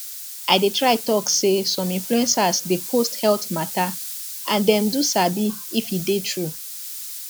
i dey try talk say some influencers dey post health matter and dem do sabi if e dey true